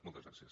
moltes gràcies